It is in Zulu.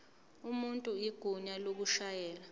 umuntu igunya lokushayela